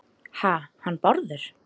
Ha- hann Bárður?